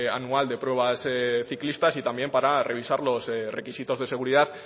anual de pruebas ciclistas y también para revisar los requisitos de seguridad